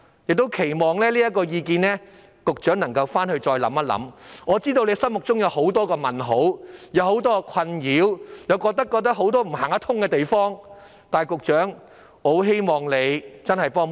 我期望局長考慮這項意見，我知道他心裏會有很多疑問和困擾，他亦會認為有行不通的地方，但我希望局長可以幫幫忙。